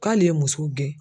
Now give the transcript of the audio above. K'ale ye muso gɛn.